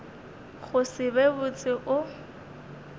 go se be botse o